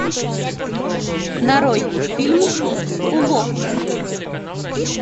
нарой фильм уловка